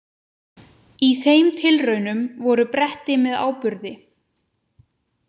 Í þeim tilraunum voru bretti með áburði.